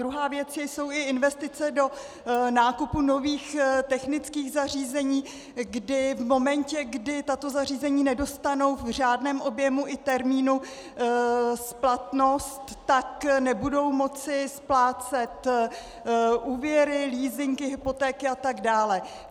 Druhá věc jsou i investice do nákupu nových technických zařízení, kdy v momentě, kdy tato zařízení nedostanou v řádném objemu i termínu splatnost, tak nebudou moci splácet úvěry, leasingy, hypotéky atd.